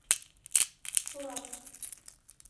сурат